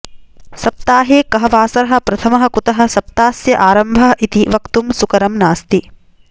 सप्ताहे कः वासरः प्रथमः कुतः सप्तास्य आरम्भः इति वक्तुं सुकरं नास्ति